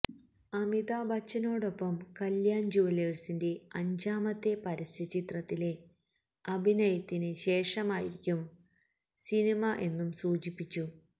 അമിതാബ് ബച്ചനോടൊപ്പം കല്യാൺ ജൂവലേഴ്സിന്റെ അഞ്ചാമത്തെ പരസ്യ ചിത്രത്തിലെ അഭിനയത്തിന് ശേഷമായിരിക്കും സിനിമ എന്നും സൂചിപ്പിച്ചു